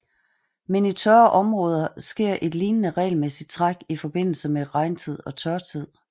Men i tørre områder sker et lignende regelmæssigt træk i forbindelse med regntid og tørtid